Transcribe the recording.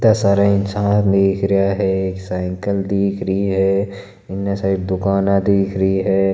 इत्ता सारा इंसान दिख रहा है एक साइकल दिख रही है एन्ना सारी दुकाने दिख रही है।